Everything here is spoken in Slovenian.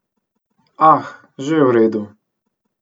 Ah, že v redu.